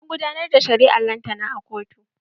An gudanar da shari'ar lantana a kotu.